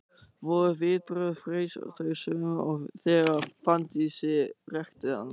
Voru viðbrögð Freys þau sömu og þegar Fanndísi hrekkti hann?